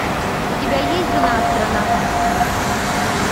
у тебя есть жена астронавта